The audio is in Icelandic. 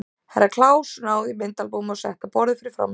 Herra Kláus náði í myndaalbúmið og setti á borðið fyrir framan sig.